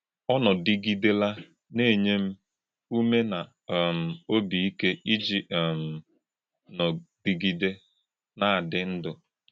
Ọ nòdì̄gì̄dèlà̄ nà - ènyè̄ m ùmè̄ nà um ọ́bì ìkè̄ íjì̄ um nòdì̄gì̄dè̄ nà - àdí̄ ndú̄.”